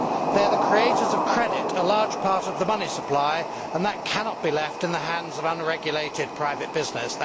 They are the creators of credit, a large part of the money supply and that cannot be left in the hands of unregulated private business.